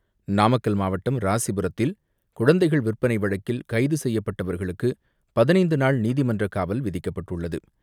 நாமக்கல் மாவட்டம் ராசிபுரத்தில் குழந்தைகள் விற்பனை வழக்கில் கைது செய்யப்பட்டவர்களுக்கு பதினைந்து நாள் நீதிமன்றக் காவல் விதிக்கப்பட்டுள்ளது.